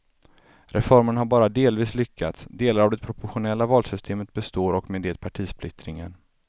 Reformen har bara delvis lyckats, delar av det proportionella valsystemet består och med det partisplittringen.